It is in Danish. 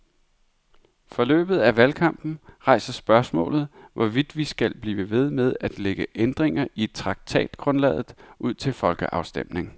Forløbet af valgkampen rejser spørgsmålet, hvorvidt vi skal blive ved med at lægge ændringer i traktatgrundlaget ud til folkeafstemning.